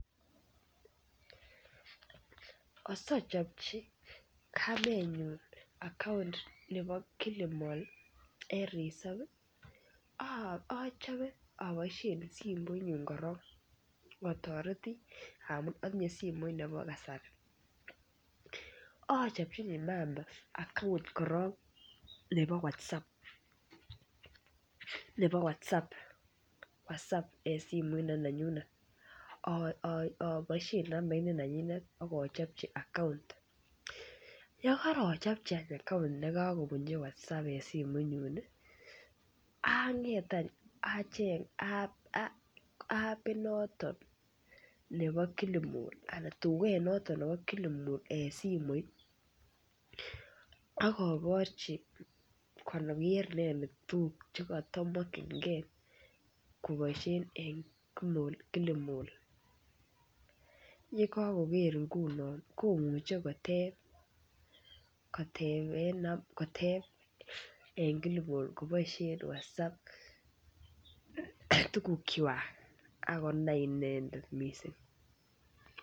Asochopchi kamenyun akount nebo kilimol en resopi achope aboishen simoinyun koron atoreti amun itinye simoit nebo kasari achopchini mama akount koron nebo watsap nebo watsap watsap en simoit ne nanyunet aboishen nambait ne nanyinet ak ochopchi akount yekorochopchi akount nekokobunchi watsap en simoi nyuni anger any achenge apit notok nepo kilimol Alan tuket notok nebo kilimol en simoit akoborchi konoryet inendet tuguk chekotomokyinkee koboishen en kilimol yekokoker ngunon komuche kotepeen kilimol koboishen watsap tugukwak akonai inendet mising